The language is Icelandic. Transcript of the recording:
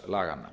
tekjuskattslaganna